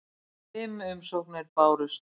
Fimm umsóknir bárust.